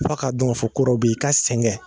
F'a ka dɔn k'a fɔ kɔ dɔ be yen i ka sɛgɛn